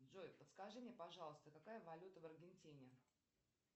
джой подскажи мне пожалуйста какая валюта в аргентине